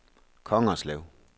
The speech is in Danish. Kongerslev